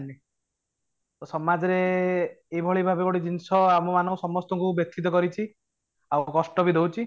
ତ ସମାଜ ରେ ଏଇ ଭଳି ଭାବେ ଗୋଟେ ଜିନିଷ ଆମେମାନେ ସମସ୍ତଙ୍କୁ ବ୍ୟଥିତ କରିଛି ଆଉ କଷ୍ଟ ବି ଦଉଛି